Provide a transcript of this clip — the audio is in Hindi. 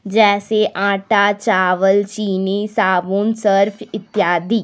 जैसी आटा चावल चीनी साबुन सर्फ इत्यादि।